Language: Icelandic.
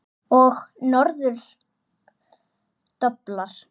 Og norður doblar.